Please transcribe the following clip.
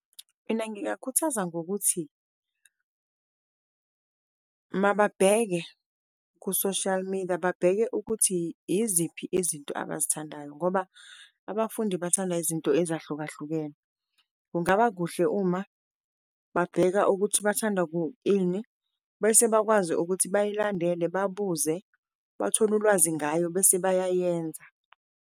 Mina ngingakhuthaza ngokuthi mababheke ku-social media babheke ukuthi iziphi izinto abazithandayo, ngoba abafundi bathanda izinto ezahlukahlukene. Kungaba kuhle uma babheka ukuthi bathanda ini bese bakwazi ukuthi bayilandele babuze bathole ulwazi ngayo bese bayayenza.